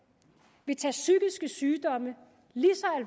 vil tage psykiske sygdomme lige